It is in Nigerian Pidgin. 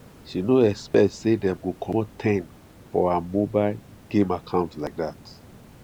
she no expect say dem go comot ten for her mobile game account like that